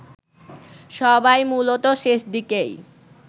সবাই মূলত শেষদিকেই